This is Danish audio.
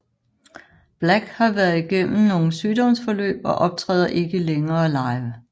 Black har været igennem nogle sygdomsforløb og optræder ikke længere live